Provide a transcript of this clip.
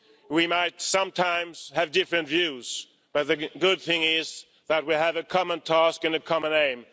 We might sometimes have different views, but the good thing is that we have a common task and a common aim.